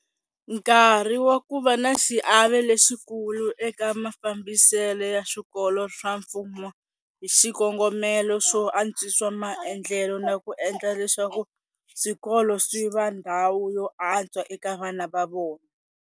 Nkarhi wa ku va na xiave lexikulu eka mafambisele ya swikolo swa mfumo hi xikongomelo xo antswisa maendlelo na ku endla leswaku swikolo swi va ndhawu yo antswa eka vana va vona.